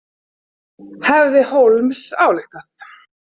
Hefði Holmes ályktað.